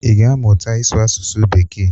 Ị ga-amụta ịsụ asụsụ bekee?